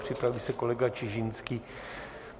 Připraví se kolega Čižinský.